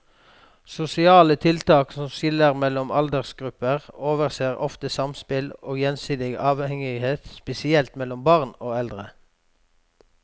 Sosiale tiltak som skiller mellom aldersgrupper overser ofte samspill og gjensidig avhengighet, spesielt mellom barn og eldre.